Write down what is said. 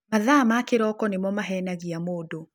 Mathaa ma kĩroko nĩmo mahenagia mũndũ.